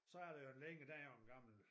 Så er der jo en længe der er jo en gammel